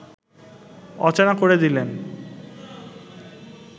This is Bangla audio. অচেনা করে দিলেন